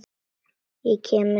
Ég kem með sagði Tóti.